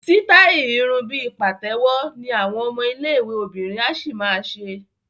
Sítáì irun bí pàtẹ́wọ́ ni àwọn ọmọ iléèwé obìnrin á ṣì ma ṣe